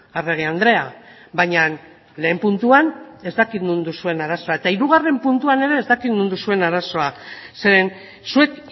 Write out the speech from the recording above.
arregi andrea baina lehen puntuan ez dakit non duzuen arazoa eta hirugarren puntuan ere ez dakit non duzuen arazoa zeren zuek